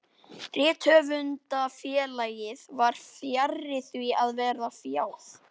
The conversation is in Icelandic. Rithöfundafélagið var fjarri því að vera fjáð.